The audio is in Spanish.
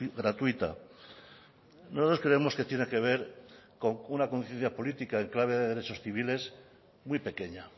gratuita nosotros creemos que tiene que ver con una conciencia política y clave de derechos civiles muy pequeña